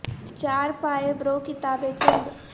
چار پائے برو کتابے چند